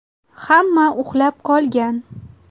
Hamma uxlab qolgan.